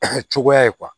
A cogoya ye